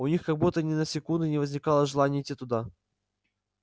у них как будто ни на секунду не возникало желания идти туда